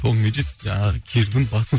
томирис жаңағы кирдің басын